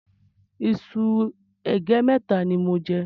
Iṣu ègé mẹ́ta ni mò ń jẹ.